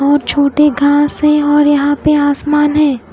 और छोटे घास है और यहा पे आसमान है।